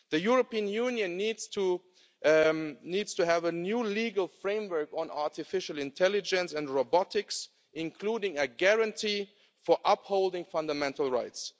The European Union to needs to have a new legal framework on artificial intelligence and robotics, including a guarantee for upholding fundamental rights.